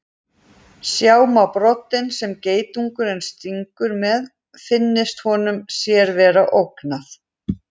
Sjá má broddinn sem geitungurinn stingur með finnist honum sér vera ógnað.